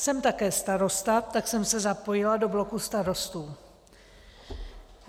Jsem také starosta, tak jsem se zapojila do bloku starostů.